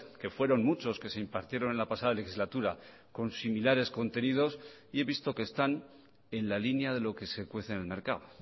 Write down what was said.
que fueron muchos que se impartieron en la pasada legislatura con similares contenidos y he visto que están en la línea de lo que se cuece en el mercado